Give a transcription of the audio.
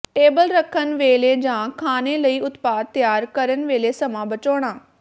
table ਰੱਖਣ ਵੇਲੇ ਜਾਂ ਖਾਣੇ ਲਈ ਉਤਪਾਦ ਤਿਆਰ ਕਰਨ ਵੇਲੇ ਸਮਾਂ ਬਚਾਉਣਾ